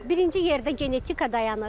Birinci yerdə genetika dayanır.